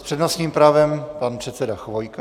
S přednostním právem pan předseda Chvojka.